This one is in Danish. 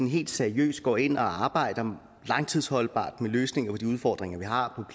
helt seriøst går ind og arbejder langtidsholdbart med løsninger på de udfordringer vi har